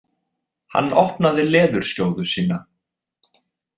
Hann opnaði leðurskjóðu sína.